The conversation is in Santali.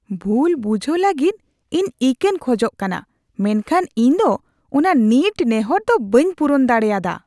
ᱵᱷᱩᱞ ᱵᱩᱡᱷᱟᱣ ᱞᱟᱹᱜᱤᱫ ᱤᱧ ᱤᱠᱟᱹᱧ ᱠᱷᱚᱡᱚᱜ ᱠᱟᱱᱟ, ᱢᱮᱱᱠᱷᱟᱱ ᱤᱧ ᱫᱚ ᱚᱱᱟ ᱱᱤᱴ ᱱᱮᱦᱚᱨ ᱫᱚ ᱵᱟᱹᱧ ᱯᱩᱨᱩᱱ ᱫᱟᱲᱮᱭᱟᱫᱟ ᱾